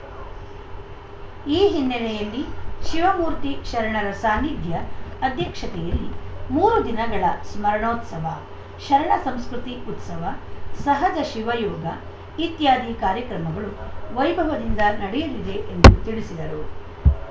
ಈ ಹಿನ್ನೆಲೆಯಲ್ಲಿ ಶಿವಮೂರ್ತಿ ಶರಣರ ಸಾನಿಧ್ಯ ಅಧ್ಯಕ್ಷತೆಯಲ್ಲಿ ಮೂರು ದಿನಗಳ ಸ್ಮರಣೋತ್ಸವ ಶರಣ ಸಂಸ್ಕೃತಿ ಉತ್ಸವ ಸಹಜ ಶಿವಯೋಗ ಇತ್ಯಾದಿ ಕಾರ್ಯಕ್ರಮಗಳು ವೈಭವದಿಂದ ನಡೆಯಲಿದೆ ಎಂದು ತಿಳಿಸಿದರು